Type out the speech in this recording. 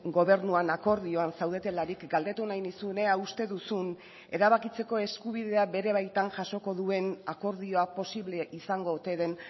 gobernuan akordioan zaudetelarik galdetu nahi nizun ea uste duzun erabakitzeko eskubidea bere baitan jasoko duen akordioa posible izango ote den